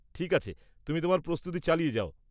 ঠিক আছে, তুমি তোমার প্রস্তুতি চালিয়ে যাও।